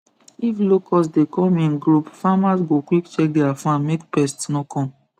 if locust dey come in group farmers go quick check their farm make pest no come